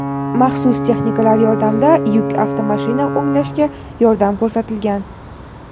maxsus texnikalar yordamida yuk avtomashina o‘nglashga yordam ko‘rsatilgan.